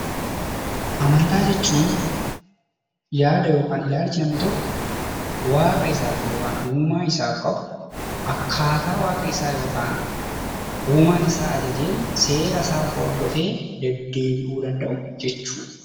Amantaa jechuun yaadaa yookaan ilaalcha namni tokko waaqa isaaf yookaan uumaa isaaf qabu akkaataa waaqa isaa yookaan uumaan isaa ajajeen seera isaa hordofee deddeebi'uu danda'u jechuudha.